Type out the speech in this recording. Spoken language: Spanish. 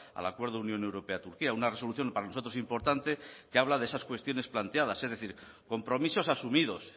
al acuerdo unión europea turquía una resolución para nosotros importante que habla de esas cuestiones planteadas es decir compromisos asumidos